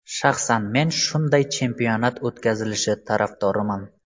Shaxsan men shunday chempionat o‘tkazilishi tarafdoriman”.